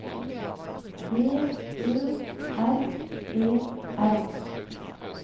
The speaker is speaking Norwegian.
D Ø R E R